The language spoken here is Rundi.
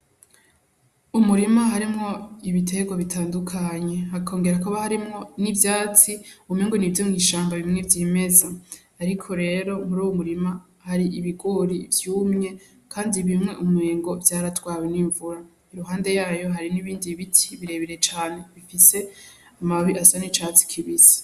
Umurima harimwo ibiterwa bitandukanye, hakongera hakaba harimwo ivyatsi umengo n'ivyo mw'ishamba bimwe vyimeza, ariko rero muruwo murima hari ibigori vyumye, Kandi bimwe umengo vyaratwawe n'imvura, iruhande yaho hari n'ibindi biti birebire cane bifise amababi asa n'icatsi kibisi.